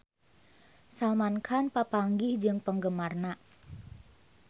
Salman Khan papanggih jeung penggemarna